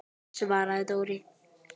svaraði Dóri.